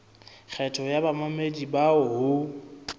kgetho ya bamamedi bao ho